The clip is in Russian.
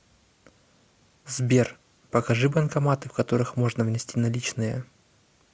сбер покажи банкоматы в которых можно внести наличные